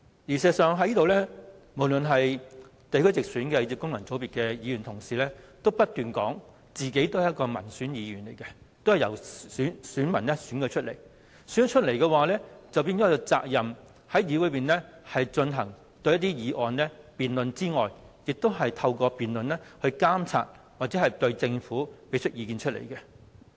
事實上，無論是地區直選或是功能界別的同事，都不斷表示自己是民選議員，都是由選民選舉出來，他們有責任在議會內就議案進行辯論，透過辯論監察政府或向政府提出意見。